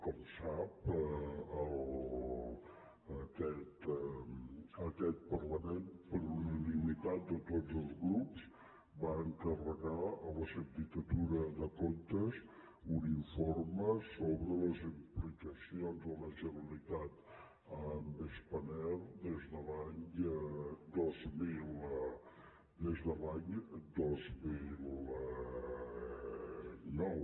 com sap aquest parlament per unanimitat de tots els grups va encarregar a la sindicatura de comptes un informe sobre les implicacions de la generalitat en spanair des de l’any dos mil nou